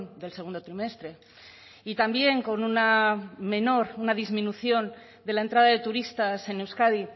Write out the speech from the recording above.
del segundo trimestre y también con una menor una disminución de la entrada de turistas en euskadi